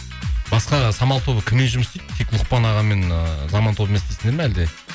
басқа самал тобы кіммен жұмыс істейді тек лұқпан ағамен ыыы заман тобымен істейсіздер ме әлде